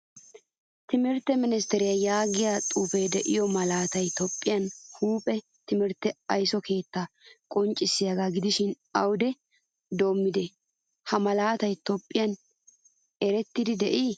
Timirtte ministeriyaa yaagiyaa xuufe deiyo malaatay toophphiyaa huuphphee timirtte aysso keetta qonccisiyaga gidishin awude doomidi ha malataay toophphiyaan erettide de'i?